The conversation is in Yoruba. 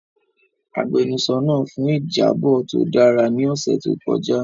Agbẹnusọro naa fun ijabọ to dara ni ọsẹ to kọja.